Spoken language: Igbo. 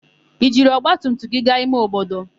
I jiri ọgbatumtum gị gaa ime obodo?